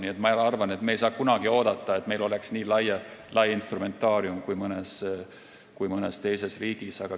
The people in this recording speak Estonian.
Nii et ma arvan, et me ei saa kunagi oodata, et meil oleks nii lai instrumentaarium kui mõnes teises riigis.